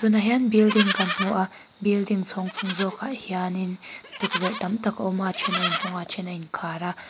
tunah hian building kan hmu a building chhâwng chung zâwkah hianin tukverh tam tak a awm a a ṭhen a inhawng a a ṭhen a inkhâr a.